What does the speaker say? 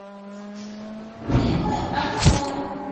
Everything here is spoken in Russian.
фильмы аниме